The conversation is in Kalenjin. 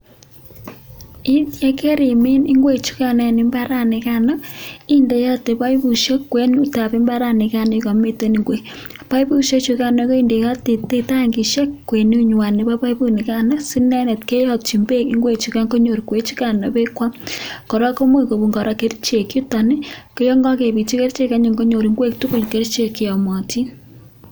Yeit ye karimin ingwek chugano eng imbara nigano, indeote paipusiek kwenutab imbaranigan ye kamiten ingwek. Paipusiek chugano kendeoti tangisiek kwenutnywan nebo paipunigan si inendet keyatyin beek ingwe chuga konyor ingwechugan bee kwam. Kora ko much kibun kora kerichek yuton ii koyon kagepitchi kerichek anyun konyor ingwek tugul kerichek che yamatin.